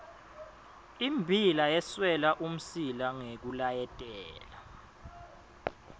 immbila yeswela umsila ngekulayetela